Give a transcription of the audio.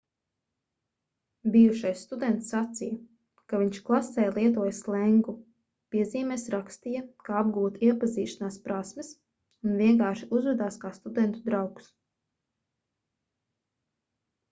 bijušais students sacīja ka viņš klasē lietoja slengu piezīmēs rakstīja kā apgūt iepazīšanās prasmes un vienkārši uzvedās kā studentu draugs